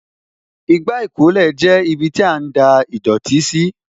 Igbá ìkólẹ̀ jẹ́ ibiti a ń da ìdọ̀tí sí